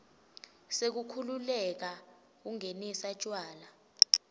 sekukhululeka kungenisa tjwala